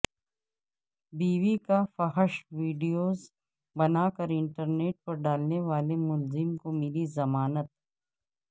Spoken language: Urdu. بیوی کا فحش ویڈیوز بنا کر انٹرنیٹ پر ڈالنے والے ملزم کو ملی ضمانت